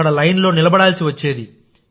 అక్కడ లైన్లో నిలబడాల్సి వచ్చేది